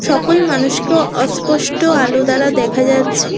সকল মানুষকেও অস্পষ্ট আলো দ্বারা দেখা যাচ্ছে।